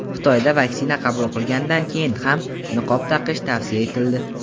Xitoyda vaksina qabul qilgandan keyin ham niqob taqish tavsiya etildi.